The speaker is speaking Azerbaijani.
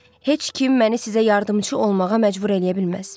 Heç kim məni sizə yardımçı olmağa məcbur eləyə bilməz.